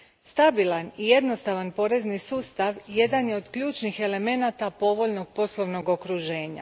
Stabilan i jednostavan porezni sustav jedan je od ključnih elemenata povoljnog poslovnog okruženja.